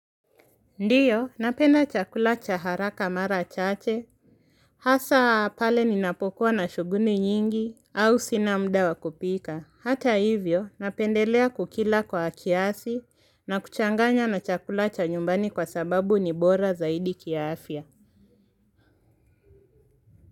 Ndio, napenda chakula cha haraka mara chache. Hasa pale ninapokuwa na shuguli nyingi au sina muda wa kupika. Hata hivyo, napendelea kukila kwa kiasi na kuchanganya na chakula cha nyumbani kwa sababu ni bora zaidi kiafya.